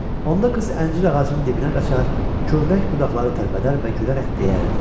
Onda qız əncir ağacının dibinə qaçar, kövrək budaqları tərpədər və gülərək deyərdi: